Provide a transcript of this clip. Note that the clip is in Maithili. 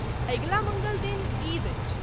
अगिला मङ्गल दिन ईद अछि।